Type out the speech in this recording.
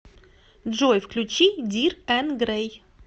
джой включи дир эн грей